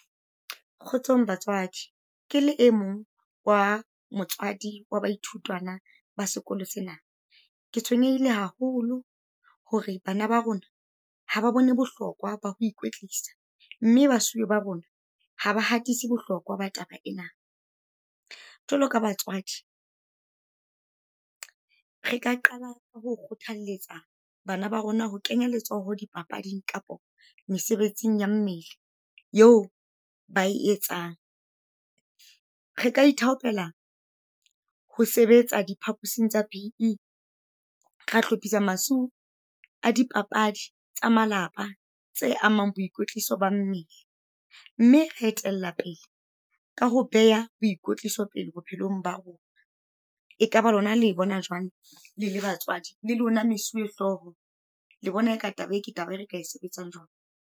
Kgotsong batswadi ke le e mong wa motswadi wa baithutwana ba sekolo sena. Ke tshwenyehile haholo, hore bana ba rona ha ba bone bohlokwa ba ho ikwetlisa. Mme basuwe ba bona ha ba hatise bohlokwa ba taba ena. Jwalo ka batswadi, re ka qala ho kgothalletsa bana ba rona ho kenya letsoho di papading kapa mesebetsing ya mmele eo ba e etsang. Re ka ithaopela ho sebetsa diphapusing tsa B_E, ra hlophisa a dipapadi tsa malapa tse amang boikwetliso ba mmele. Mme re etella pele ka ho beha boikotliso pele bophelong ba rona. Ekaba lona le bona jwang le batswadi, le lona mesuwe hlooho le bona ka taba ke taba e re ka e sebetsang jwang?